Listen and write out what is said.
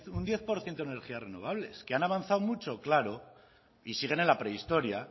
un diez por ciento en energías renovables que han avanzado mucho claro y siguen en la prehistoria